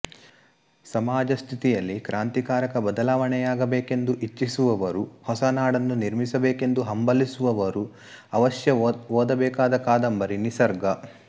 ಸಮಾಜ ಸ್ಥಿತಿಯಲ್ಲಿ ಕ್ರಾಂತಿಕಾರಕ ಬದಲಾವಣೆಯಾಗಬೇಕೆಂದು ಇಚ್ಚಿಸುವವರು ಹೊಸ ನಾಡನ್ನು ನಿರ್ಮಿಸಬೇಕೆಂದು ಹಂಬಲಿಸುವವರು ಅವಶ್ಯ ಓದಬೇಕಾದ ಕಾದಂಬರಿ ನಿಸರ್ಗ